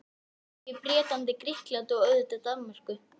Noregi, Bretlandi, Grikklandi og auðvitað Danmörku.